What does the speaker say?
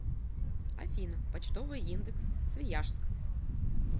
афина почтовый индекс свияжск